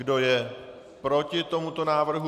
Kdo je proti tomuto návrhu?